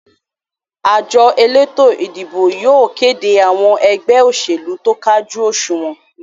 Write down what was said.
àjọ elétò-ìdìbò yóò kéde àwọn ẹgbẹ́ òṣèlú tó kájú òsùnwọ́n.